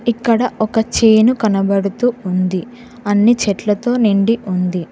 ఇక్కడ ఒక చేను కనబడుతు ఉంది అన్ని చెట్లతొ నిండి ఉంది.